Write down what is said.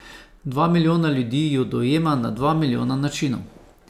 Dva milijona ljudi jo dojema na dva milijona načinov.